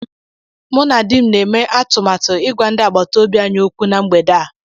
Mụ na di m na-eme atụmatụ ịgwa ndị agbata obi anyị okwu na mgbede a